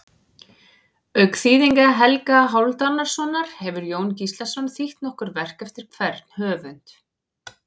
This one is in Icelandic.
Auk þýðinga Helga Hálfdanarsonar hefur Jón Gíslason þýtt nokkur verk eftir hvern höfund.